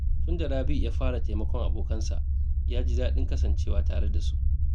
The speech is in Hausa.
Tun da Rabi’u ya fara taimakon abokansa, ya ji daɗin kasancewa tare da su.